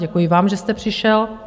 Děkuji vám, že jste přišel.